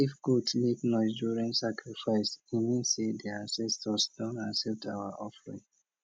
if goat make noise during sacrifice e mean say di ancestors don accept our offering